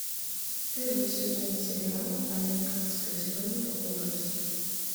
первый сезон сериала американская история ужасов